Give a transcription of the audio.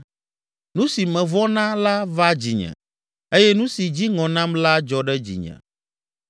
Nu si mevɔ̃ na la va dzinye eye nu si dzi ŋɔ nam la dzɔ ɖe dzinye.